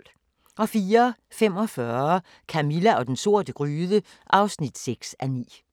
04:45: Camilla og den sorte gryde (6:9)